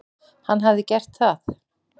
Hann hafi gert það.